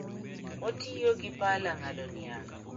Otiyo gi pala ng'ado niang'